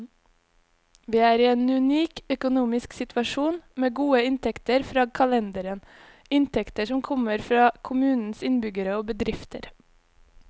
Vi er i en unik økonomisk situasjon, med gode inntekter fra kalenderen, inntekter som kommer fra kommunens innbyggere og bedrifter.